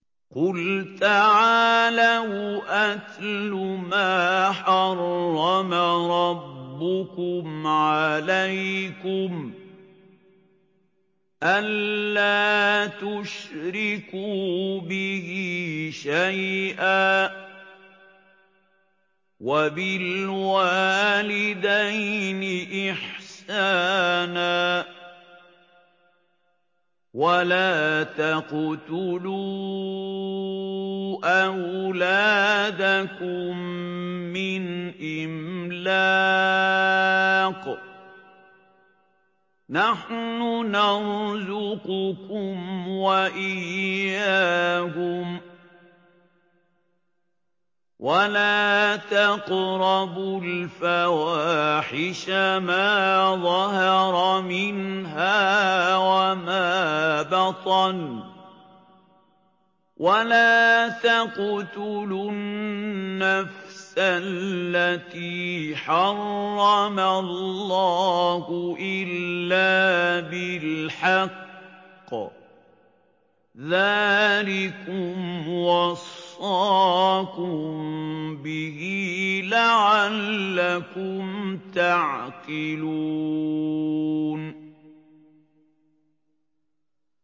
۞ قُلْ تَعَالَوْا أَتْلُ مَا حَرَّمَ رَبُّكُمْ عَلَيْكُمْ ۖ أَلَّا تُشْرِكُوا بِهِ شَيْئًا ۖ وَبِالْوَالِدَيْنِ إِحْسَانًا ۖ وَلَا تَقْتُلُوا أَوْلَادَكُم مِّنْ إِمْلَاقٍ ۖ نَّحْنُ نَرْزُقُكُمْ وَإِيَّاهُمْ ۖ وَلَا تَقْرَبُوا الْفَوَاحِشَ مَا ظَهَرَ مِنْهَا وَمَا بَطَنَ ۖ وَلَا تَقْتُلُوا النَّفْسَ الَّتِي حَرَّمَ اللَّهُ إِلَّا بِالْحَقِّ ۚ ذَٰلِكُمْ وَصَّاكُم بِهِ لَعَلَّكُمْ تَعْقِلُونَ